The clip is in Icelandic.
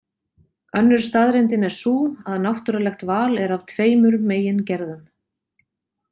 Önnur staðreyndin er sú að náttúrulegt val er af tveimur megin gerðum.